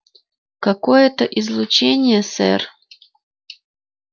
какое-то излучение сэр